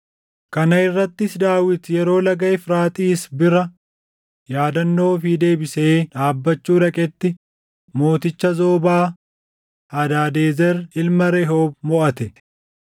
Kana irrattis Daawit yeroo Laga Efraaxiis bira yaadannoo ofii deebisee dhaabbachuu dhaqetti mooticha Zoobaa, Hadaadezer ilma Rehoob moʼate.